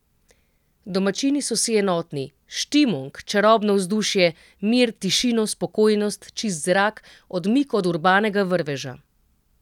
Domačini so si enotni: 'Štimung', čarobno vzdušje, mir, tišino, spokojnost, čist zrak, odmik od urbanega vrveža.